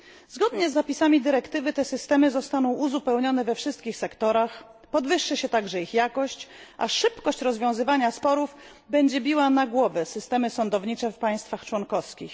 Zgodnie z zapisami dyrektywy systemy te zostaną uzupełnione we wszystkich sektorach, podwyższy się także ich jakość, a szybkość rozwiązywania sporów będzie biła na głowę systemy sądownicze w państwach członkowskich.